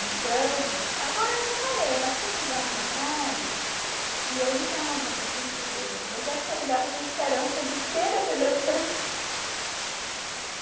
Então, agora eu até parei, mas teve uns anos atrás que eu ligava para a família dele, mas eu acho que eu ligava com esperança de que ele atendesse o